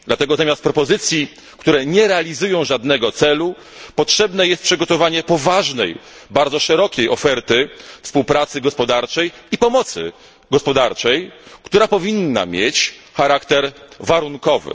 Dlatego zamiast propozycji, które nie realizują żadnego celu potrzebne jest przygotowanie poważnej, bardzo szerokiej oferty współpracy gospodarczej i pomocy gospodarczej, która powinna mieć charakter warunkowy.